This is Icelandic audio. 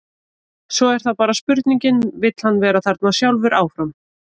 Svo er það bara spurningin, vill hann vera þarna sjálfur áfram?